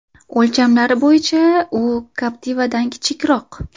O‘lchamlari bo‘yicha u Captiva’dan kichikroq .